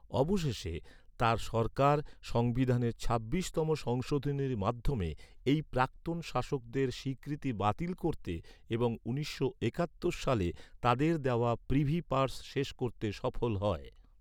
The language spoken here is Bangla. অবশেষে, তার সরকার সংবিধানের ছাব্বিশতম সংশোধনীর মাধ্যমে এই প্রাক্তন শাসকদের স্বীকৃতি বাতিল করতে এবং উনিশশো একাত্তর সালে তাদের দেওয়া প্রিভি পার্স শেষ করতে সফল হয়।